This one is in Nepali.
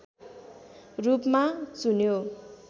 रूपमा चुन्यो